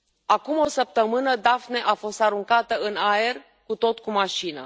Acum o săptămână, Daphne a fost aruncată în aer cu tot cu mașină.